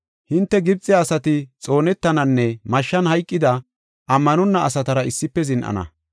“Hinte Gibxe asati xoonetananne mashshan hayqida, ammanonna asatara issife zin7ana.